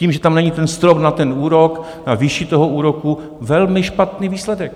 Tím, že tam není ten strop na ten úrok, na výši toho úroku, velmi špatný výsledek.